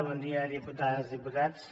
bon dia diputades diputats